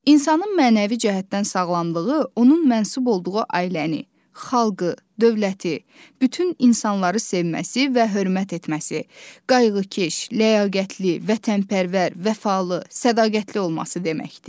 İnsanın mənəvi cəhətdən sağlamlığı onun mənsub olduğu ailəni, xalqı, dövləti, bütün insanları sevməsi və hörmət etməsi, qayğıkeş, ləyaqətli, vətənpərvər, vəfalı, sədaqətli olması deməkdir.